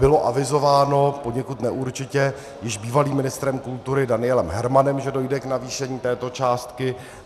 Bylo avizováno poněkud neurčitě již bývalým ministrem kultury Danielem Hermanem, že dojde k navýšení této částky.